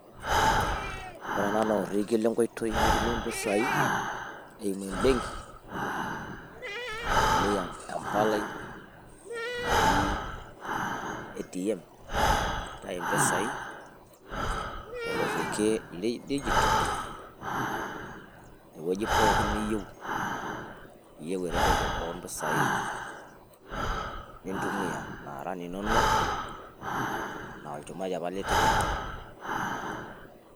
Woore eNAA naa orekiee lenkoitoi litumiee mpisaii eimu embenki itumiaa empalai naji ATM aitayu mpisai torekie ledigital tewueji pookin niyieuu eretoto oo mpisai naara linonok naa olchumati apa litipika.